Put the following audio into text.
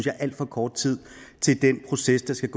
er alt for kort tid til den proces der skal